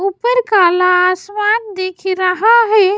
ऊपर काला आसमान दिख रहा है।